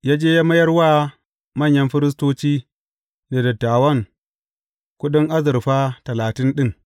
Ya je mayar wa manyan firistoci da dattawan kuɗin azurfa talatin ɗin.